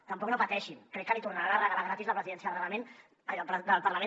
tampoc no pateixin crec que li tornaran a regalar gratis la presidència del parlament